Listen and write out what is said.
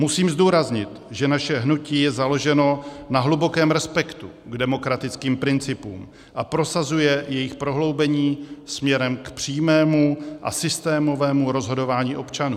Musím zdůraznit, že naše hnutí je založeno na hlubokém respektu k demokratickým principům a prosazuje jejich prohloubení směrem k přímému a systémovému rozhodování občanů.